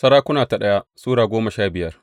daya Sarakuna Sura goma sha biyar